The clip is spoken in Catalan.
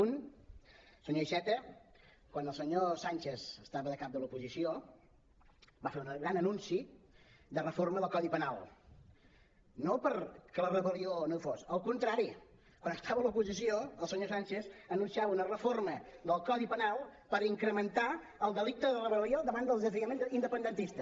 un senyor iceta quan el senyor sánchez estava de cap de l’oposició va fer un gran anunci de reforma del codi penal no perquè la rebel·lió no hi fos al contrari quan estava a l’oposició el senyor sánchez anunciava una reforma del codi penal per incrementar el delicte de rebel·lió davant del desafiament independentista